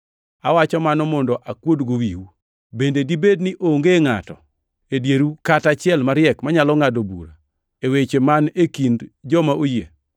Awacho mano mondo akuodgo wiu. Bende dibed ni onge ngʼato e dieru kata achiel mariek manyalo ngʼado bura weche man e kind joma oyie?